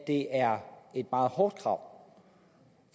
det er et meget hårdt krav